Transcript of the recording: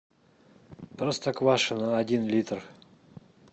простоквашино один литр